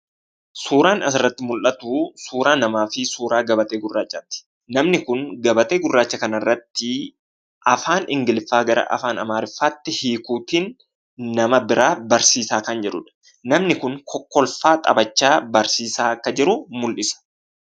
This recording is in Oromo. Suuraan asirratti mul'atuu suuraa namaa fi suuraa gabatee gurraachaati. namni kun gabatee gurraacha kanarrattii afaan ingiliffaa gara afaan amaariffaatti hiikuutiin nama biraa barsiisaa kan jirudha. Namni kun kokkolfaa, taphachaa barsiisaa akka jiru mul'isa.